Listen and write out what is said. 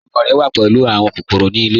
Ọmọ rẹ wà pẹ̀lú awọn kòkòrò ni ilẹ̀.